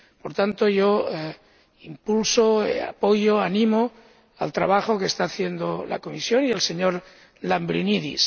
Por tanto, yo impulso, apoyo, animo el trabajo que está haciendo la Comisión y el señor Lambrinidis.